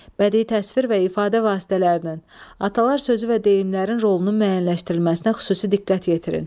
Bədii təsvir və ifadə vasitələrinin, atalar sözü və deyimlərin rolunun müəyyənləşdirilməsinə xüsusi diqqət yetirin.